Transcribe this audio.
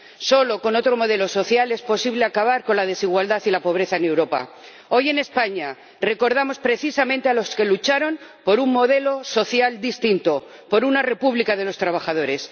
Solo con otro modelo social es posible acabar con la desigualdad y la pobreza en Europa. Hoy en España recordamos precisamente a los que lucharon por un modelo social distinto, por una república de los trabajadores.